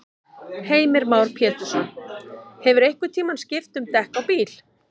Heimir Már Pétursson: Hefurðu einhvern tímann skipt um dekk á bíl?